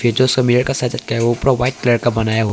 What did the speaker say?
जो सब मिरर का साइड ऊपर वाइट कलर का बनाया वो--